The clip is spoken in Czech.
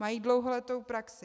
Mají dlouholetou praxi.